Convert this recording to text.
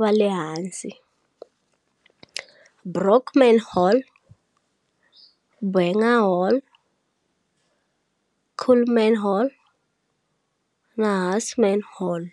va le hansi-Brockman Hall, Buenger Hall, Kuhlman Hall na Husman Hall.